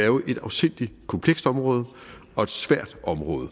jo er et afsindig komplekst område og et svært område